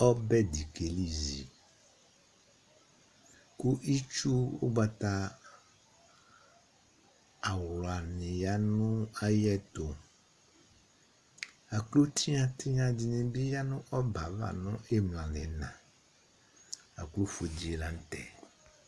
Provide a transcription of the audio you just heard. Ɔbɛ di kelizi Ku itsu awla ni ya nu ayɛtu Aklo tinytinyadinibii ya nu ɔbɛ ava imla nu uyina laku ofue dilanutɛ